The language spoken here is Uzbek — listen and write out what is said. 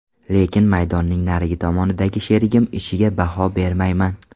Lekin maydonning narigi tomonidagi sherigim ishiga baho bermayman.